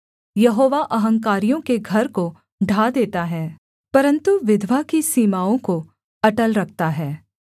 यहोवा अहंकारियों के घर को ढा देता है परन्तु विधवा की सीमाओं को अटल रखता है